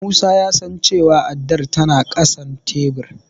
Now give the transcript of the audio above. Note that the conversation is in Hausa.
Musa ya san cewa addar tana ƙasan tebur.